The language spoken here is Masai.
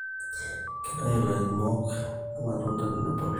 Keitayu ilairemok irmatunda tenebulu